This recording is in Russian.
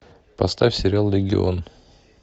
поставь сериал легион